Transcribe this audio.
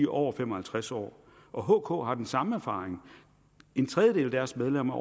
over fem og halvtreds år og hk har den samme erfaring en tredjedel af deres medlemmer